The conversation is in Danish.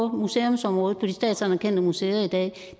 på museumsområdet på de statsanerkendte museer i dag